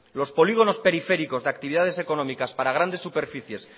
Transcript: los polígonos periféricos de actividades económicas para grandes superficies